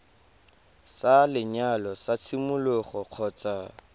sa lenyalo sa tshimologo kgotsa